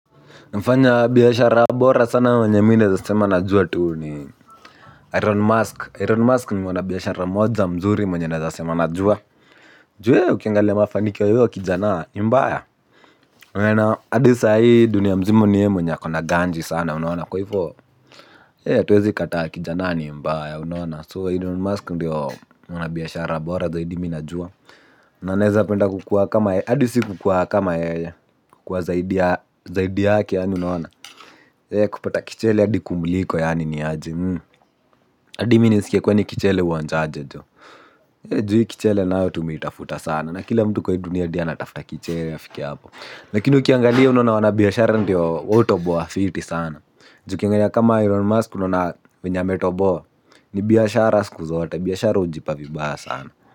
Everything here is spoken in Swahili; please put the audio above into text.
Mfanya biashara bora sana mwenye mi naeza sema najua tu ni Elon Musk, Elon Musk ni mwana biashara mmoja mzuri mwenye naeza sema najua. Ju yee ukiangalia mafanikio ya huyo kijana ni mbaya unaona hadi sahii dunia mzima ni ye mwenye ako na ganji sana unaona kwa hivyo hatuwezi kataa kijana ni mbaya unaona So elon Musk ndiyo mwana biashara bora zaidi mi najua. Na naeza penda kukuwa kama yeye, hadi si kukuwa kama yeye. Kukuwa zaidi ya yake unaona. Kupata kichele adi kumuiko yaani ni aje. Adi mi nisikie kwani kichele husnza aje joh. Ju hii kichele nayo tumeitafuta sana. Na kila mtu kwa hii dunia hadi anatafuta kichele afike hapo. Lakini ukiangalia unaona wana biashara ndiyo wao hutoboa fiti sana. Ju ukiangalia kama elon musk unaona venye ametoboa. Ni biashara siku zote biashara hujipa vibaya sana.